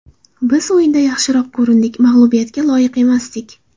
Biz o‘yinda yaxshiroq ko‘rindik, mag‘lubiyatga loyiq emasdik.